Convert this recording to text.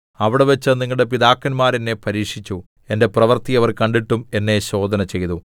അവിടെവച്ച് നിങ്ങളുടെ പിതാക്കന്മാർ എന്നെ പരീക്ഷിച്ചു എന്റെ പ്രവൃത്തി അവർ കണ്ടിട്ടും എന്നെ ശോധന ചെയ്തു